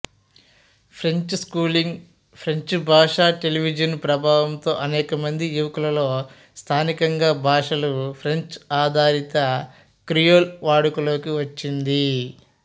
ఫ్రెంచి schooling ఫ్రెంచ్భాష television ప్రభావంతో అనేకమంది యువకులలో స్థానికంగా భాషలు ఫ్రెంచ్ఆధారిత క్రియోల్ వాడుకలోకి వచ్చింది